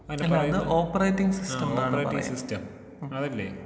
അല്ല അത് operating system ആണ് ഓപ്പറേറ്റിംഗ് സിസ്റ്റം.